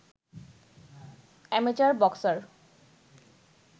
amateur boxer